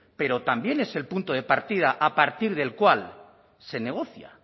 pero también es el punto de partida a partir del cual se negocia